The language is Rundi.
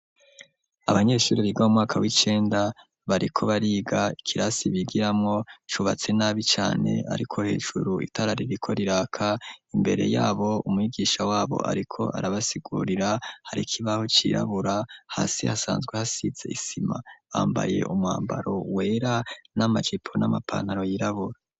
Abanyeshuri biga mu mwaka w'icenda bariko bariga, ikirasi bigiramwo cubatse nabi cane, ariko hejuru itara ririko riraka. Imbere yabo umwigisha wabo ariko arabasigurira, hari ikibaho cirabura, hasi hasanzwe hasize isima, bambaye umwambaro wera n'amajipo n'amapanaro yirabura.